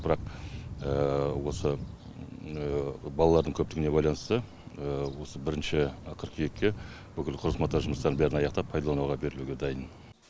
бірақ осы балалардың көптігіне байланысты осы бірінші қыркүйекке бүкіл құрылыс монтаж жұмыстарын бәрін аяқтап пайдалануға берілуге дайын